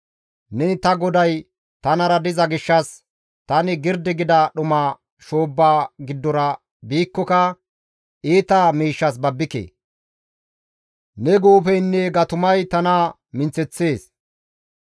Neni ta GODAY tanara diza gishshas tani girdi gida dhuma shoobba giddora biikkoka iita miishshas babbike. Ne guufeynne gatumay tana minththeththees.